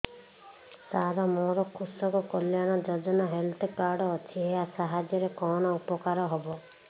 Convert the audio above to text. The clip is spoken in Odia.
ସାର ମୋର କୃଷକ କଲ୍ୟାଣ ଯୋଜନା ହେଲ୍ଥ କାର୍ଡ ଅଛି ଏହା ସାହାଯ୍ୟ ରେ କଣ ଉପକାର ହବ